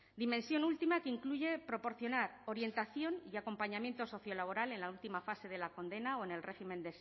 dimensión última que incluye proporcionar orientación y acompañamiento sociolaboral en la última fase de la condena o en el régimen